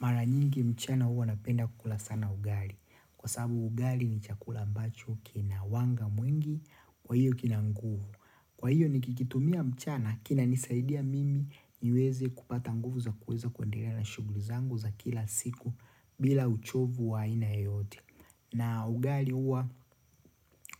Maranyingi mchana huwa napenda kukula sana ugali. Kwa sababu ugali ni chakula ambacho kina wanga mwingi kwa hiyo kina nguvu. Kwa hiyo ni kikitumia mchana kina nisaidia mimi niweze kupata nguvu za kuweza kuendelea na shughuli zangu za kila siku bila uchovu wa aina yeyote. Na ugali huwa